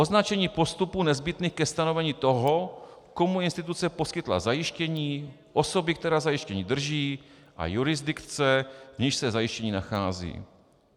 Označení postupů nezbytných ke stanovení toho, komu instituce poskytla zajištění, osoby, která zajištění drží, a jurisdikce, v níž se zajištění nachází.